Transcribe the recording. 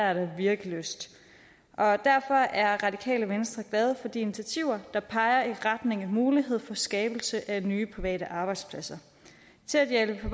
er der virkelyst derfor er radikale venstre glade for de initiativer der peger i retning af mulighed for skabelse af nye private arbejdspladser til at hjælpe på